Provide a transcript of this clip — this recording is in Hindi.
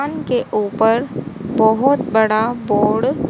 अनके ऊपर बहोत बड़ा बोण --